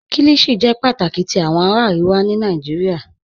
Kíllíshì jẹ́ pátákì tì awọn ará Àríwà ní Nàìjíríà